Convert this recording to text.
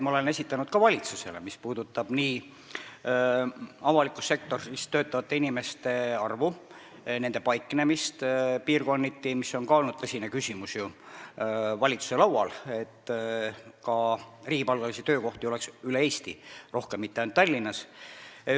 Ma olen ka valitsusele esitanud neid ülevaateid avalikus sektoris töötavate inimeste arvu ja nende paiknemise kohta piirkonniti, sest see on ka tõsine küsimus valitsuse laual, et riigipalgalisi töökohti oleks rohkem üle Eesti, mitte ainult Tallinnas.